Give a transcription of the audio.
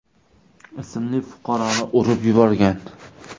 ismli fuqaroni urib yuborgan.